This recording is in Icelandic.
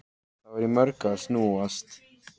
Það var í mörgu að snúast.